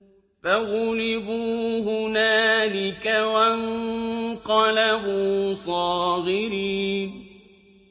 فَغُلِبُوا هُنَالِكَ وَانقَلَبُوا صَاغِرِينَ